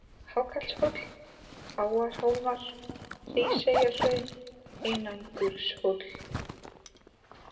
Hákallshóll, Áarhólmar, Hríseyjarhraun, Einangurshóll